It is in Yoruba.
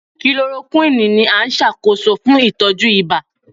Chloroquine ni a nṣakoso fun itọju iba